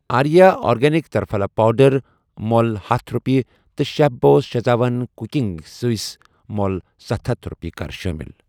آریٖا organic triphala powder مۄل ہتھَ رۄپیہِ تہٕ chef boss schezwan cooking sauce مۄل ستھ ہتھَ رۄپیہِ کر شٲمِل۔